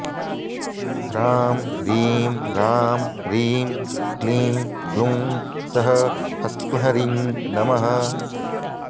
ह्रां ह्रीं ह्रां ह्रीं क्लीँ ब्लूँ सः ह्स्क्ल्ह्रीं नमः